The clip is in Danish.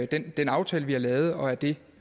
den aftale vi har lavet og at det